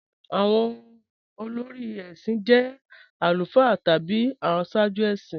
Awọn olórí èṣin jẹ̀ alufáà tabi awọn àṣààjú èṣin